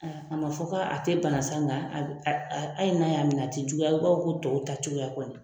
A man fɔ ko a tɛ bana sa nga a hali n'a y'a minɛ a tɛ juguya i b'a ko tɔw ta cogoya kɔni.